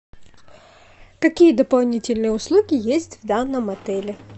какие дополнительные услуги есть в данном отеле